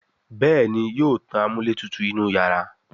Béèni yóò tán amúlétutù inú iyàrá.